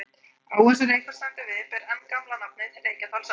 Áin sem Reykholt stendur við ber enn gamla nafnið, Reykjadalsá.